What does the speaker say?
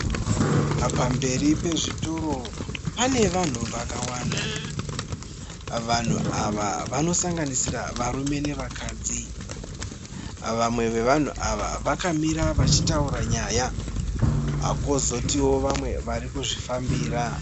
Pamberi pezvitoro pane vanhu vakawanda. Vanhu ava vanosanganisira varume nevakadzi. Vamwe vevanhu ava vakamira vachitaura nyaya. Kwozotiwo vamwe vari kuzvifambira.